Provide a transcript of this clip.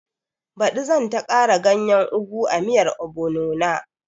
Baɗi zan ta kara ganyen ogu a miyan obono na